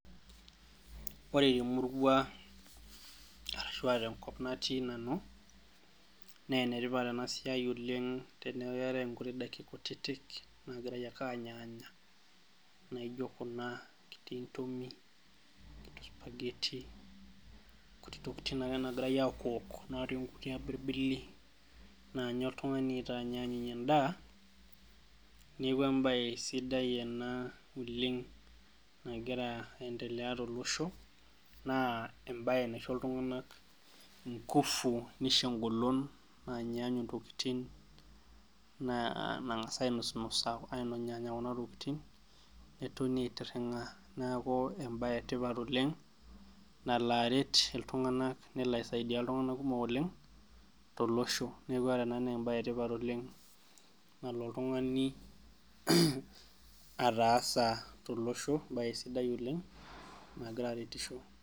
Ore temurua arashu aa tenkop natii nanu, naa enetipat ena siai oleng' teneeku keetai inkuti daiki kutiti naagirai ake anyaanya, naijo kuna kuti tumi, supageti, inkuti tokitin ake naagirai ake awokwok nkuti natii imbibili, naanya tung'ani aitaanyunye endaa, neeku embae sidai ena oleng' nagira aendelea tolosho, naa embae naisho iltunganak inkufu nisho engolon naanyunye intokitin nankas ainosinasa enyaanya kuna tokitin netoni aitirinka, neeku embae etipata oleng' nalo aret iltunganak nelo aisaidia iltunganak kumok oleng' tolosho. Neeku ore ena naa embae etipata oleng' nalo oltungani ataasa tolosho naa sidai egira aretisho.